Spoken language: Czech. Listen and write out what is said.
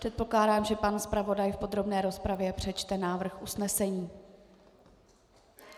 Předpokládám, že pan zpravodaj v podrobné rozpravě přečte návrh usnesení.